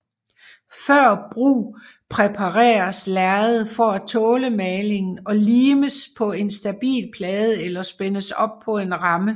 Før brug præpareres lærredet for at tåle malingen og limes på en stabil plade eller spændes op på en ramme